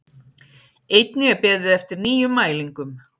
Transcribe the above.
Einnig er beðið eftir nýjum mælingum